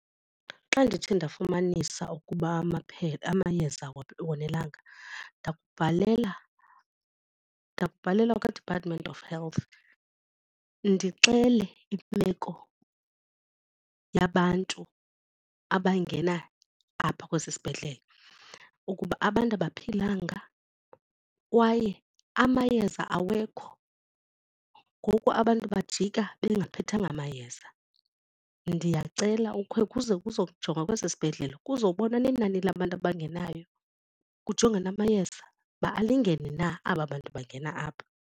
Xa ndithe ndafumanisa ukuba amayeza awonelanga ndakubhalela ndakubhala kwaDepartment of Health ndixele imeko yabantu abangena apha kwesi sibhedlele ukuba abantu abaphilanga kwaye amayeza awekho. Ngoku abantu bajika bengaphethanga mayeza. Ndiyacela ukhe kuze kuzojongwa kwesi sibhedlele kuzobonwa nenani labantu abangenayo kujongwe namayeza uba alingene na aba bantu bangena apha.